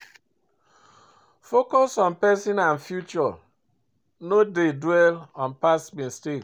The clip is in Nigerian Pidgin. Focus on present and future, no dey dwell on past mistake.